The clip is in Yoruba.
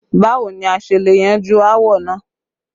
Báwo ni a ṣe le yanjú áwọ̀ náà?